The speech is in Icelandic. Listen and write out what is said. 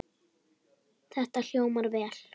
Þetta hljómar vel.